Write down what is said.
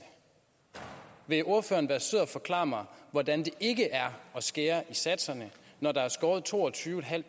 vil ordføreren være sød at forklare mig hvordan det ikke er at skære i satserne når der er skåret toogtyvetusinde